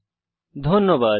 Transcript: অংশগ্রহনের জন্য ধন্যবাদ